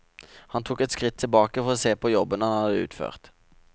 Han tok et skritt tilbake for å se på jobben han hadde utført.